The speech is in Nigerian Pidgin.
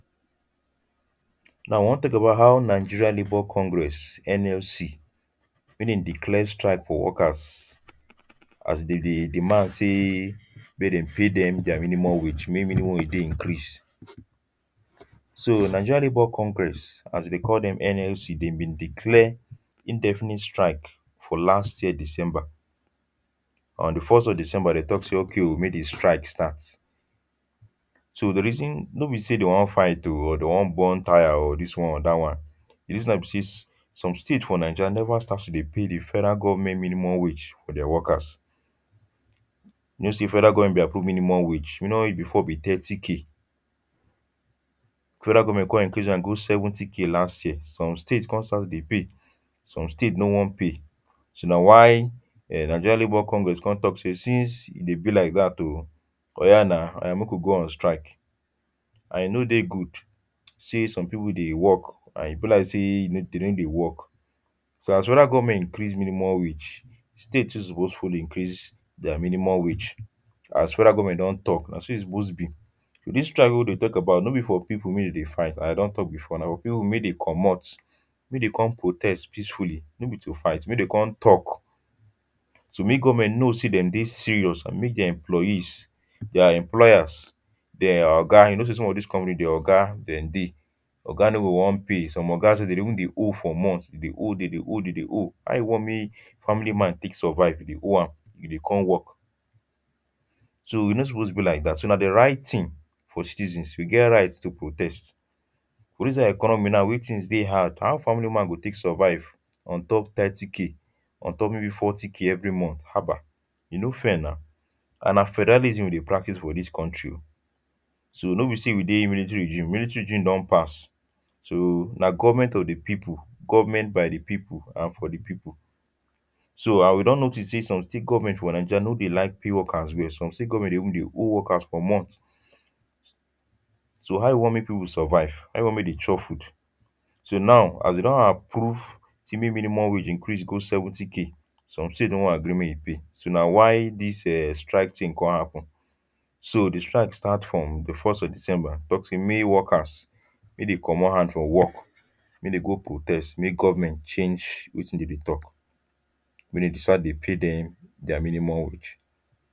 now we wan talk about how Nigerian Labour Congress (NLC) make them declare strike for workers as them deh demand say make them pay them their minimum wage make minimum wage deh increase so Nigerian Labour Congress as they deh call them (NLC) them been declare indefinite strike for last year december on the first week of december them talk say okay um make the strike start so the reason no be say them want fight o or them want burn tyre o or this one or that one the reason nah say some state for Niger never start to deh pay the federal government minimum wage to their workers you know say federal government been approve minimum wage minimum wage before been thirty thousand federal government come increase am go seventy thousand last year some states come start to deh pay some states no want pay so nah why nigerian labour congress come talk say since e deh be like that um oya now oya make we go on strike and e no deh good say some people deh work and e be like say them no deh work so as federal government increase minimum wage state too suppose follow increase their minimum wage as federal government don talk nah so e suppose be this strike weh we deh talk about no be for people make them deh fight and i don talk before nah for people make them commot make come protest peacefuly no be to fight make them come talk so make government know say them don serious and make them employees their employers them oga you know say some of these companies them oga them deh oga no go want pay some ogas sef them deh even deh owe for months deh owe them deh owe them deh owe how you want make family man take survive you deh owe am e deh come work so e no suppose be like that so nah the right thing for citizens we get right to protest for this kind economy now weh things deh had how family man go take survive on top thirty k on top maybe forty k every month haba e no fair now and nah federalism we deh practice for this country um so no be say we deh military rigim military rigim don pass so nah government of the people government by the people and for the people so ah we don notice say some state government for niger no deh like pay workers well some state government sef go even deh owe workers for months so how you want make people survive how you want make them chop food so now as them don approve say make minimum wage increase go seventy k some states no agree make them pay nah why this um strike thing come happen so the strike start from the first day of december talk say make workers make them commot hand for work make them go protest make government change wetin them deh talk make them start deh pay them their minimum wage.